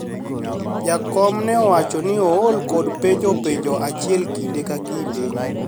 jakom ne owacho ni ool kod penjo penjo achiel kinde ka kinde